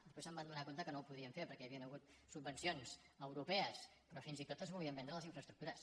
després es van adonar que no ho podien fer perquè hi havien hagut subvencions europees però fins i tot es volien vendre les infraestructures